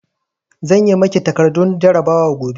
Zan yi makin takardun jarabawar gobe